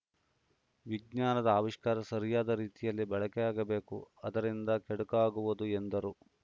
ವಿಜ್ಞಾನದ ಆವಿಷ್ಕಾರ ಸರಿಯಾದ ರೀತಿಯಲ್ಲಿ ಬಳಕೆಯಾಗಬೇಕು ಅದರಿಂದ ಕೆಡುಕಾಗುವುದು ಎಂದರು